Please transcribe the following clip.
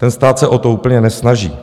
Ten stát se o to úplně nesnaží.